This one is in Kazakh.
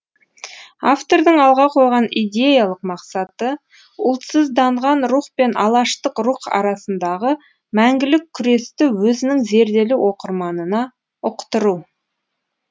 автордың алға қойған идеялық мақсаты ұлтсызданған рух пен алаштық рух арасындағы мәңгілік күресті өзінің зерделі оқырманына ұқтыру